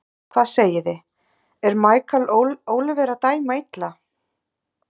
Hvað segiði, er Michael Oliver að dæma illa?